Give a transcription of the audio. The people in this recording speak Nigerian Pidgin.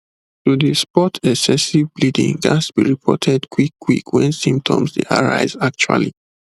to dey spot excessive bleeding ghats be reported quick quick wen symptoms dey arise actually